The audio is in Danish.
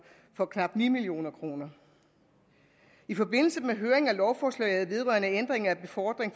for knap ni million kroner i forbindelse med høringen af lovforslaget vedrørende ændring af befordring